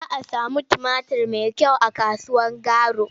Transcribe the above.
Za a sami tumatur mai kyau a kasuwar Garu.